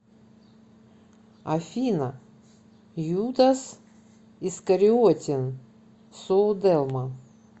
афина юдас искариотин сууделма